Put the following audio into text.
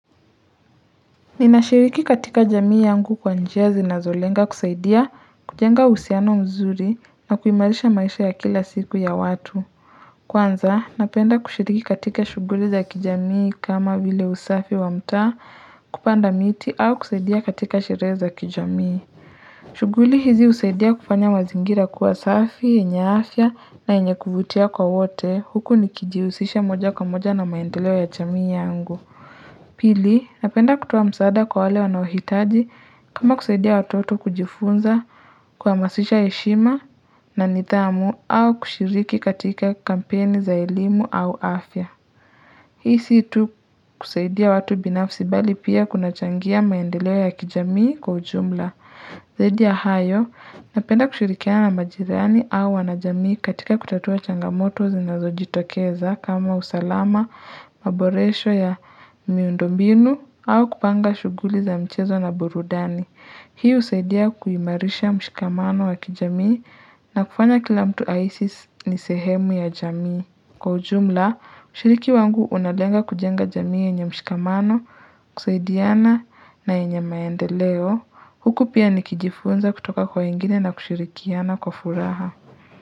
Ninashiriki katika jamii yangu kwa njia zinazo lenga kusaidia kujenga uhusiano mzuri na kuimarisha maisha ya kila siku ya watu Kwanza napenda kushiriki katika shuguli za kijamii kama vile usafi wa mtaa kupanda miti au kusaidia katika sherehe za kijamii shuguli hizi husaidia kufanya mazingira kuwa safi, yenye afya na yenye kuvutia kwa wote huku nikijihusisha moja kwa moja na maendeleo ya jamii yangu Pili, napenda kutowa msaada kwa wale wanaoitaji kama kusaidia watoto kujifunza kuwamasisha heshima na nithamu au kushiriki katika kampeni za elimu au afya. Hii si tu kusaidia watu binafsi bali pia kuna changia maendeleo ya kijamii kwa ujumla. Zaidi ya hayo, napenda kushirikiana na majirani au wanajamii katika kutatua changamoto zinazo jitokeza kama usalama, maboresho ya miundo mbinu au kupanga shuguli za mchezo na burudani. Hii husaidia kuimarisha mshikamano wa kijamii na kufanya kila mtu ahisi ni sehemu ya jamii. Kwa ujumla kushiriki wangu unalenga kujenga jamii yenye mshikamano kusaidiana na yenye maendeleo huku pia nikijifunza kutoka kwa wengine na kushirikiana kwa furaha.